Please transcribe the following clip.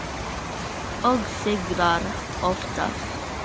Og sigrar oftast.